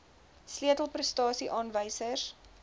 sleutel prestasie aanwysers